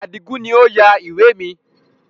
Adigun ni ó yà ìwé mi